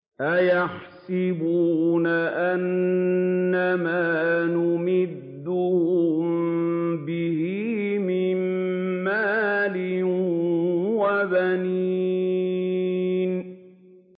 أَيَحْسَبُونَ أَنَّمَا نُمِدُّهُم بِهِ مِن مَّالٍ وَبَنِينَ